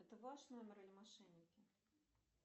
это ваш номер или мошенники